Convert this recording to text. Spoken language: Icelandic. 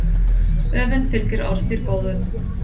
Öfund fylgir orðstír góðum.